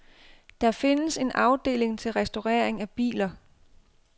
Der findes en afdeling til restaurering af biler.